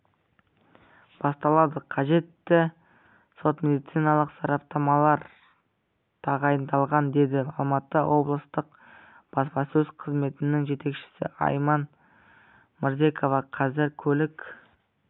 басталды қажетті сот-медициналық сараптамалар тағайындалған деді алматы облыстық баспасөз қызметінің жетекшісі айман мырзекова қазір көлік